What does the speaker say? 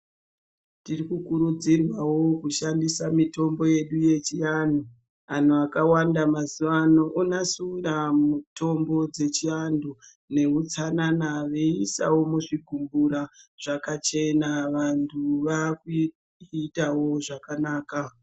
Tiri kurudzirwawo kushandisa mitombo yedu yechiandu antu akawanda mazuva ano onasira mitombo dzechiandu nehutsanana meisa muzvibhohleya zvakachena vantu vakuitawo zvakanaka.